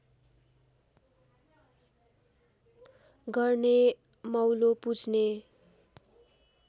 गर्ने मौलो पुज्ने